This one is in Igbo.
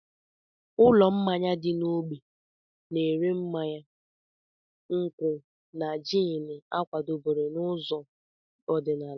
Ụlọ mmanya dị n'ógbè na-ere mmanya nkwụ́ na jiini a kwadebere n'ụzọ ọdịnala.